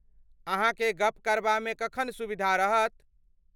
अहाँकेँ गप करबामे कखन सुविधा रहत?